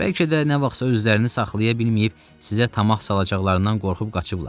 Bəlkə də nə vaxtsa özlərini saxlaya bilməyib sizə tamah salacaqlarından qorxub qaçıblar.